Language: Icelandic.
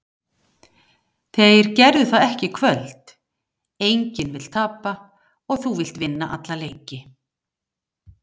Þeir gerðu það ekki í kvöld. Enginn vill tapa, þú vilt vinna alla leiki.